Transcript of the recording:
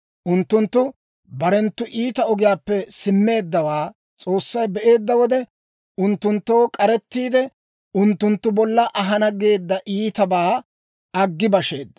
Unttunttu barenttu iita ogiyaappe simmeeddawaa S'oossay be'eedda wode, unttunttoo k'arettiide, unttunttu bolla ahana geedda iitabaa aggi basheedda.